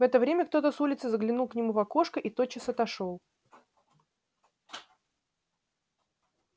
в это время кто-то с улицы заглянул к нему в окошко и тотчас отошёл